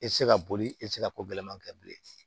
E tɛ se ka boli e tɛ se ka ko gɛlɛnman kɛ bilen